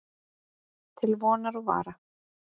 Til vonar og vara.